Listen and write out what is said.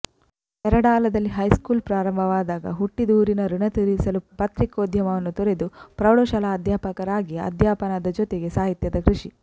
ಪೆರಡಾಲದಲ್ಲಿ high school ಪ್ರಾರಂಭವಾದಾಗ ಹುಟ್ಟಿದೂರಿನ ಋಣ ತೀರಿಸಲು ಪತ್ರಿಕೋದ್ಯಮವನ್ನು ತೊರೆದು ಪ್ರೌಢಶಾಲಾ ಅಧ್ಯಾಪಕರಾಗಿ ಅಧ್ಯಾಪನದ ಜೊತೆಗೆ ಸಾಹಿತ್ಯದ ಕೃಷಿ